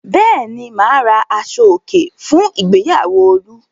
Bẹ́ẹ̀ ni, mà á ra aṣọòkè fún ìgbéyàwó Olú.